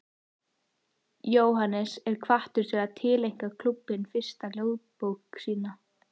Jóhannes er hvattur til að tileinka klúbbnum fyrstu ljóðabók sína.